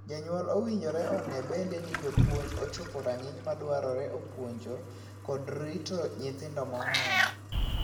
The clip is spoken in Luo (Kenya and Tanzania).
Jonyuol owinjore onee bende ni jopuonj ochope rang'iny madwarore e puonjo kod rito nyithindo mong'ol.